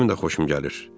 Özümün də xoşum gəlir.